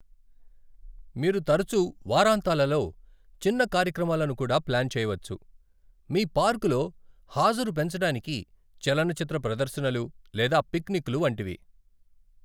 మీరు తరచూ వారాంతాలలో చిన్న కార్యక్రమాలను కూడా ప్లాన్ చేయవచ్చు, మీ పార్క్ లో హాజరు పెంచడానికి చలనచిత్ర ప్రదర్శనలు లేదా పిక్నిక్లు వంటివి.